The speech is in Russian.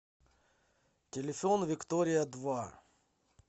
телефон виктория два